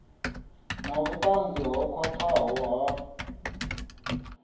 na vhutanzi ho khwathaho ha